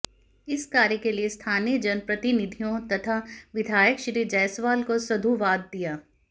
इस कार्य के लिए स्थानीय जनप्रतिनिधियों तथा विधायक श्री जायसवाल को साधुवाद दिया